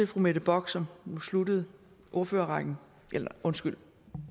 fru mette bock som sluttede ordførerrækken undskyld